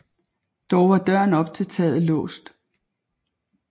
Dog var døren op til taget låst